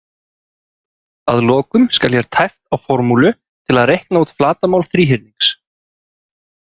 Að lokum skal hér tæpt á formúlu til að reikna út flatarmál þríhyrnings